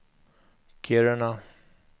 Kiruna